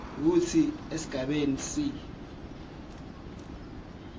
kutsi esigabeni c